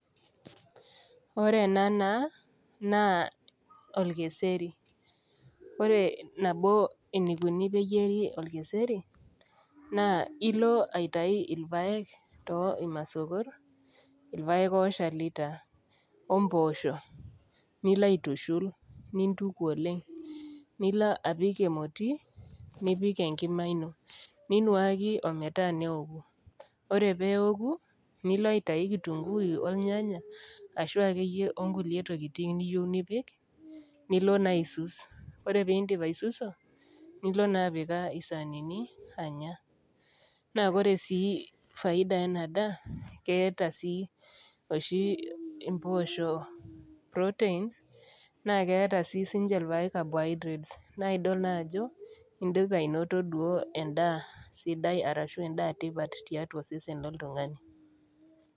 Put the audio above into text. Ore ena naa naa olkeseri ore nabo eneikuni pee eyieri olkeserinaa ilo aitayu ilpaek too imasokor, ilpaek ooshali taa, o mboosho nilo aitushul nintuku oleng' nilo apik emoti, nipik enkima ino, ninuaki o metaa neoku, ore pee eoku nilo aitayu kitunguyu olnyanya ashu ake iyie o kulie tokitin niyou nipik, nilo naa aisus, ore pee indip aisuso nilo naa apikaa isanini anya, naa ore sii faida ena daa naa eata oshi impoosho Proteins, naa keata sii niche ilpaek Carbohydrates, naa idol naa ajo indipa ainoto endaa sidai anaa endaa tipat tiatua osesen loltung'ani.